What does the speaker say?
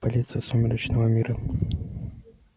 полиция сумеречного мира